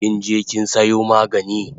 Kinje kin sayo magani?